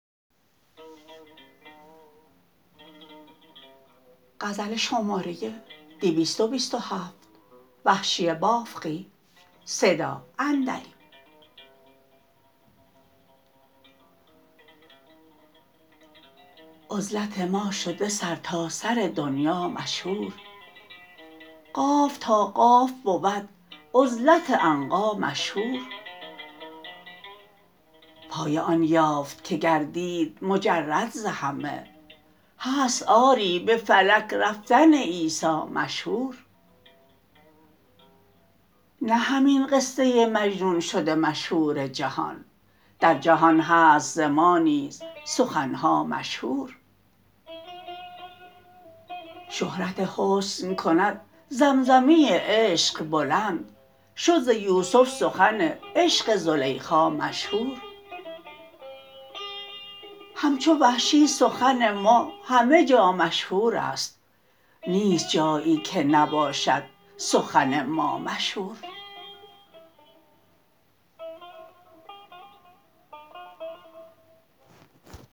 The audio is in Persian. عزلت ما شده سر تاسر دنیا مشهور قاف تا قاف بود عزلت عنقا مشهور پایه آن یافت که گردید مجرد ز همه هست آری به فلک رفتن عیسا مشهور نه همین قصه مجنون شده مشهور جهان در جهان هست ز ما نیز سخنها مشهور شهرت حسن کند زمزمه عشق بلند شد ز یوسف سخن عشق زلیخا مشهور همچو وحشی سخن ما همه جا مشهور است نیست جایی که نباشد سخن ما مشهور